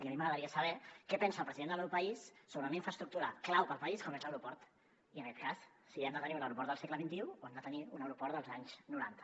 i a mi m’agradaria saber què pensa el president del meu país sobre una infraestructura clau pel país com és l’aeroport i en aquest cas si hem de tenir un aeroport del segle xxi o hem de tenir un aeroport dels anys noranta